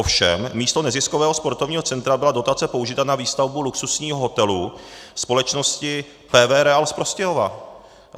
Ovšem místo neziskového sportovního centra byla dotace použita na výstavbu luxusního hotelu společnosti PV REAL z Prostějova.